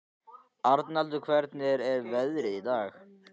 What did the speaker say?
Arnaldur, hvernig er veðrið í dag?